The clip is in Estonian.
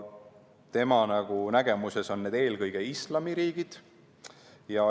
Tema nägemuses on need eelkõige islamiriigid.